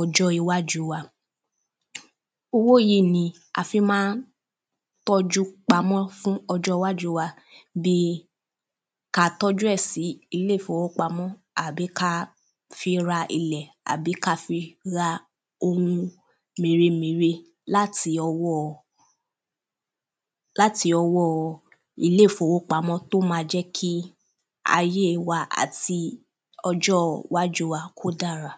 ọjọ́ iwájú wa owó yìí ni a fi má ń tọ́jú pamọ fún ọjọ́ iwájú wa bíi ka tọ́jú ẹ̀ sí ilé fowópamọ́ àbí ka fi ra ilẹ̀ àbí ka fi ra ohun mèremère láti ọwọ́o láti ọwọ́o ilé fowópamọ́ tó ma jẹ́ kí ayé wa àti ọjọ wájú wa kó dára